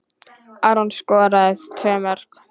Aron skoraði tvö mörk.